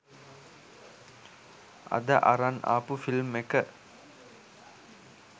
අද අරන් ආපු ෆිල්ම් එක